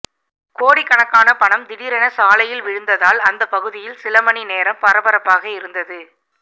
கோடிக்கணக்கான பணம் திடீரென சாலையில் விழுந்ததால் அந்த பகுதியில் சிலமணி நேரம் பரபரப்பாக இருந்தது